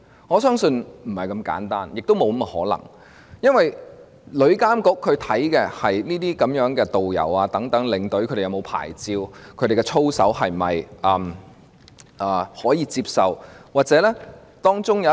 我相信不是這麼簡單的，也沒有這種可能性，因為旅監局所監管的，是導遊和領隊是否領有牌照、他們的操守是否能夠接受。